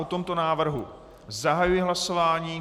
O tomto návrhu zahajuji hlasování.